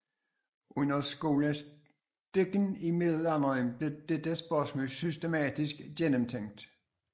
Under skolastikken i middelalderen blev dette spørgsmål systematisk gennemtænkt